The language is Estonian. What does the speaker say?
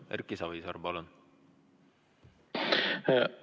Erki Savisaar, palun!